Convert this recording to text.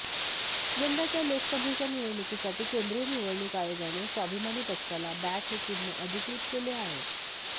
यंदाच्या लोकसभेच्या निवडणुकीसाठी केंद्रीय निवडणूक आयोगाने स्वाभिमानी पक्षाला बॅट हे चिन्ह अधिकृत केले आहे